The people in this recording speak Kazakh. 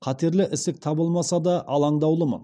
қатерлі ісік табылмаса да алаңдаулымын